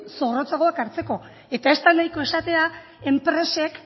zorrotzagoak hartzeko eta ez da nahiko esatea enpresek